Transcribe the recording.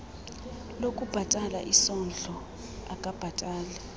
lokubhatala isondlo akabhatali